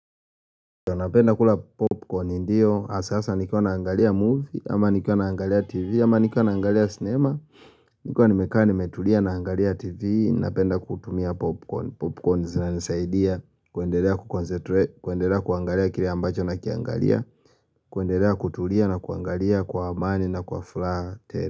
Napenda kula popcorn ndio, hasa hasa nikuwa naangalia movie, ama nikuwa naangalia tv, ama nikuwa naangalia cinema Nikuwa nimekaa nimetulia naangalia tv, napenda kutumia popcorn, popcorn zinanisaidia kwendelea kuconcentrate kuendelea kuangalia kile ambacho nakiangalia, kuendelea kutulia na kuangalia kwa amani na kwa furaha.